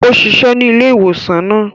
Ó ṣiṣẹ ní ilé-ìwosan náà